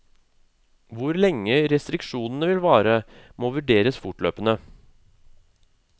Hvor lenge restriksjonene vil vare, må vurderes fortløpende.